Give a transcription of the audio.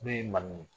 N'o ye manin